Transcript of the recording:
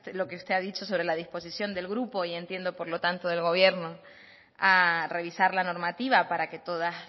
lo que usted ha dicho sobre la disposición del grupo y entiendo por lo tanto del gobierno a revisar la normativa para que todas